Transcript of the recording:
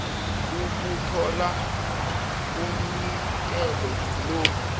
ukuthola umnikelo lo